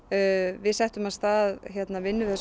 við settum af stað vinnu við þessa